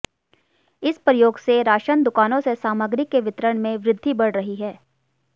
इस प्रयोग से राशन दुकानों से सामग्री के वितरण में वृद्धि बढ़ रही है